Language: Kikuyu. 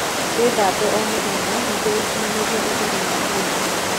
Withambe o mũthenya nĩguo gukinyanirĩa ũtheru wa mwĩrĩ